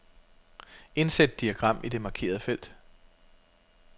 Indsæt diagram i det markerede felt.